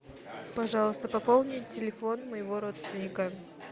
пожалуйста пополни телефон моего родственника